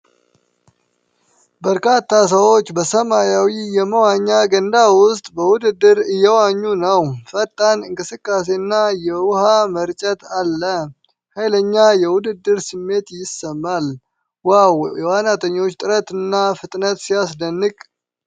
በርካታ ሰዎች በሰማያዊ የመዋኛ ገንዳ ውስጥ በውድድር እየዋኙ ነው። ፈጣን እንቅስቃሴና የውሃ መርጨት አለው። ኃይለኛ የውድድር ስሜት ይሰማል። ዋው! የዋናተኞች ጥረትና ፍጥነት ሲያስደንቅ!